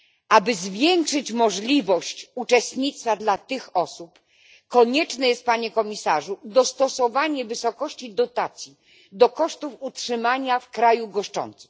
Aby zwiększyć możliwość uczestnictwa dla tych osób konieczne jest, panie komisarzu, dostosowanie wysokości dotacji do kosztów utrzymania w kraju goszczącym.